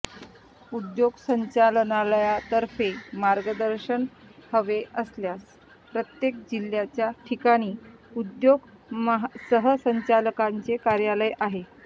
उद्योग संचालनालयातर्फे मार्गदर्शन हवे असल्याच प्रत्येक जिल्ह्याच्या ठिकाणी उद्योग सहसंचालकांचे कार्यालय आहे